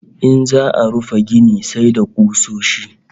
In za'a rufe gini sai da kusoshi